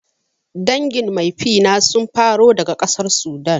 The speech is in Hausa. Dangin maifina sun faro daga ƙasar Sudan